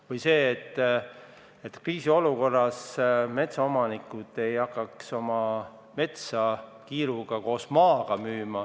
Või see, et metsaomanikud ei hakkaks kriisiolukorras oma metsa kiiruga koos maaga müüma.